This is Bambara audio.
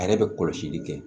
A yɛrɛ bɛ kɔlɔsili kɛ